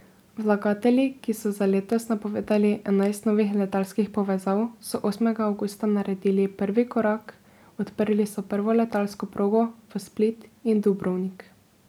Vlagatelji, ki so za letos napovedali enajst novih letalskih povezav, so osmega avgusta naredili prvi korak, odprli so prvo letalsko progo v Split in Dubrovnik.